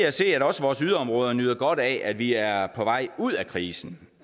at se at også vores yderområder nyder godt af at vi er på vej ud af krisen